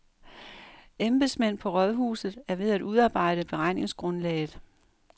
Embedsmænd på rådhuset er ved at udarbejde beregningsgrundlaget.